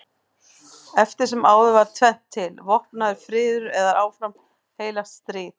Eftir sem áður er tvennt til: vopnaður friður eða áfram heilagt stríð.